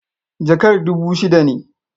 Jakar dubu shida ne.